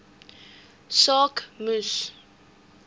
saak moes